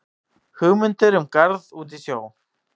Hugmyndir um garð út í sjó